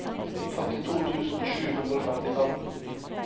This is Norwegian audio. femtito tusen sju hundre og femtifem